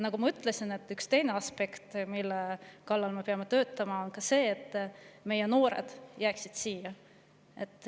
Nagu ma ütlesin, teine aspekt, mille kallal me peame töötama, on see, et noored jääksid siia.